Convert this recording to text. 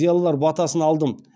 зиялылар батасын алдым